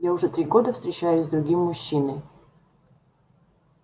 я уже три года встречаюсь с другим мужчиной